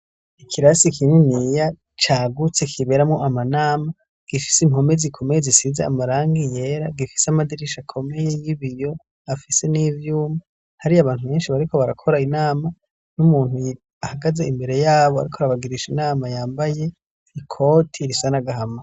Ikirasi kininiya cagutse kiberamwo amanama gifise impome zikomeye zisize amarangi yera gifise amadirisha akomeye y'ibiyo afise n'ivyuma hariyo abantu benshi bariko barakora inama n'umuntu ahagaze imbere yabo ariko arabagirisha inama yambaye ikoti risa n'agahama